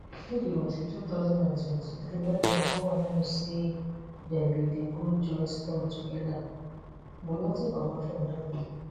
no be until 2023 wey dem go announce say dem bin dey go joint tour togeda but nothing comot from dat one.